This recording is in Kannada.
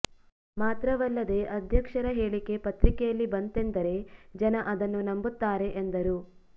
ಮಾತ್ರವಲ್ಲದೇ ಅಧ್ಯಕ್ಷರ ಹೇಳಿಕೆ ಪತ್ರಿಕೆಯಲ್ಲಿ ಬಂತೆಂದರೆ ಜನ ಅದನ್ನು ನಂಬುತ್ತಾರೆ ಎಂದರು